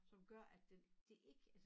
Som gør at den det ik altså